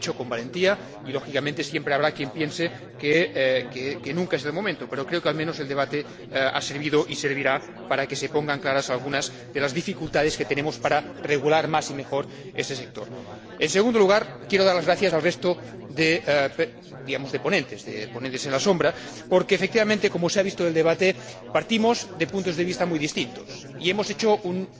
Lo ha hecho con valentía y, lógicamente, siempre habrá quien piense que nunca es el momento, pero creo que, al menos, el debate ha servido y servirá para que se pongan claras algunas de las dificultades que tenemos para regular más y mejor ese sector. En segundo lugar, quiero dar las gracias al resto de ponentes, de ponentes en la sombra, porque, efectivamente, como se ha visto en el debate, partimos de puntos de vista muy distintos y hemos hecho